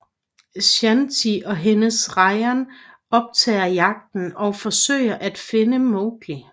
Shanti og hendes Ranjan optager jagten og forsøger at finde Mowgli